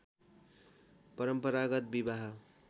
परम्परागत विवाह